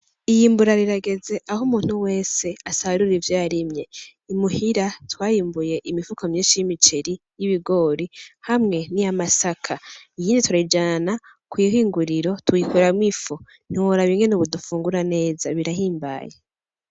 Iyimbura rirageze aho umuntu wese asarura ivyo yarimye i muhira twarimbuye imifuko myinshi y'imiceri , y'ibigore hamwe niy'amasaka , nyene turayijana kw'ihinguriro tuyikoramwo ifu ntiworaba ingene ubu dufungura neza birahimbaye .